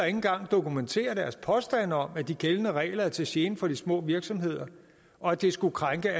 engang dokumentere deres påstande om at de gældende regler er til gene for de små virksomheder og at det skulle krænke